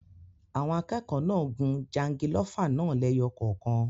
Àwọn akẹ́kọ̀ọ́ náà gun jangilófà náà lẹ́yọ kọ̀ọ̀kan.